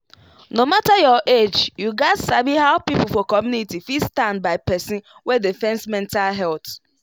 no matter your age you gats sabi how people for community fit stand by person wey dey face mental wahala.